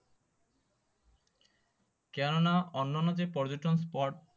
কেন না অন্যান্য যে পর্যটন spot